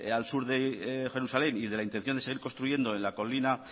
al sur de jerusalén y de la intención de seguir construyendo en la colina